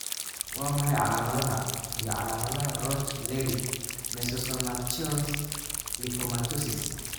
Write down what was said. Waa maxay calaamadaha iyo calaamadaha Roch Leri mesosomatous lipomatosis?